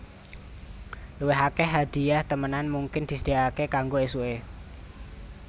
Luwih akèh hadhiah temenan mungkin disedhiyakaké kanggo ésuké